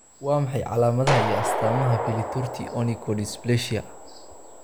Waa maxay calaamadaha iyo astaamaha Pili torti onychodysplasia?